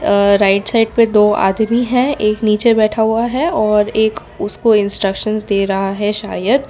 अ right side पे दो आदमी है एक नीचे बैठा हुआ है और एक उसको इंस्ट्रक्शंस दे रहा है शायद।